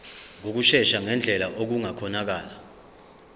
ngokushesha ngendlela okungakhonakala